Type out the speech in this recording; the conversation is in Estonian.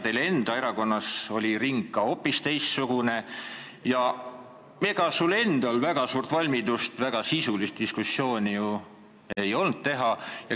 Teie oma erakonnas oli ring ka hoopis teistsugune ja ega sul ei olnud väga suurt valmidust sisulist diskussiooni arendada.